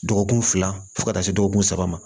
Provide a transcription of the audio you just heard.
Dɔgɔkun fila fo ka taa se dɔgɔkun saba ma